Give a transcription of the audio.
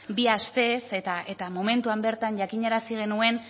bi astez eta momentuan bertan jakinarazi genuen